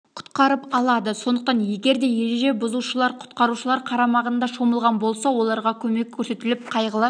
құтқарып алады сондықтан егер де ереже бұзушылар құтқарушылар қарамағында шомылған болса оларға көмек көрсетіліп қайғылы